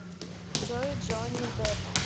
джой джонни дэпп